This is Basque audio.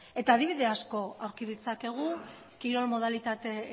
adibide asko aurki ditzakegu kirol modalitate